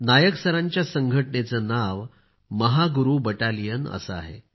नायक सरांच्या संघटनेचे नाव महागुरु बटालियन असे आहे